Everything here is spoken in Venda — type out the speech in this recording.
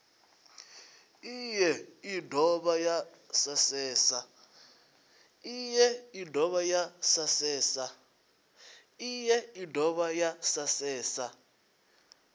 iyi i dovha ya asesa